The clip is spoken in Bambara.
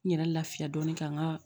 N yɛrɛ lafiya dɔɔni ka n ka